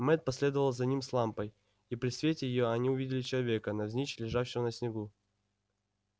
мэтт последовал за ним с лампой и при свете её они увидели человека навзничь лежавшего на снегу